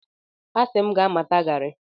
Asị m gị gaa mata garị!